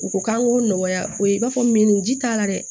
U ko k'an k'o nɔgɔya o ye i b'a fɔ min ji t'a la dɛ